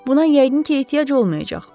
Buna yəqin ki, ehtiyac olmayacaq.